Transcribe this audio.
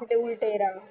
ग